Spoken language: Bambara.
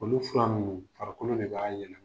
Olu fura nungu farikolo de b'a yɛlɛma.